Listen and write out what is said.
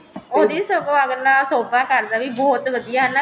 ਉਹਦੀ ਸਗੋਂ ਅੱਗਲਾ ਸ਼ੋਬਾ ਕਰਦਾ ਵੀ ਬਹੁਤ ਵਧੀਆ ਹਨਾ